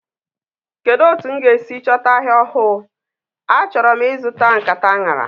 Kedu otu m ga-esi chọta ahịa ofu. achọrọ m e suta nkata anara.